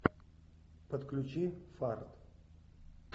подключи фарт